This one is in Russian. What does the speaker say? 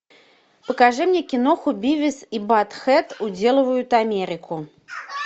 покажи мне киноху бивис и баттхед уделывают америку